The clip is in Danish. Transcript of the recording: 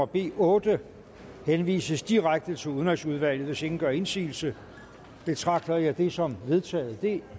b otte henvises direkte til udenrigsudvalget hvis ingen gør indsigelse betragter jeg det som vedtaget det